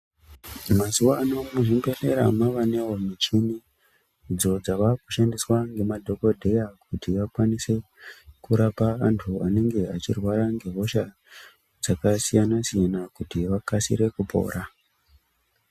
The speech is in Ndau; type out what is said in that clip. Mazuva ano muzvibhedhlera mavane muchini idzo dzavakusbandiswa nemadhokodheya kuti vakwanise kurapa vantu vanenge vachirwara ngehosha dzakasiyana siyana kuti vakasire kupora.